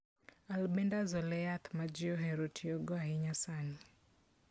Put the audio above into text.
Albendazole e yath ma ji ohero tiyogo ahinya sani.